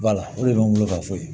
o de bɛ n bolo ka fɔ